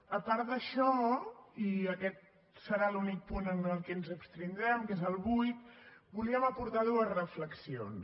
a part d’això i aquest serà l’únic punt en què ens abstindrem que és el vuit volíem aportar dues reflexions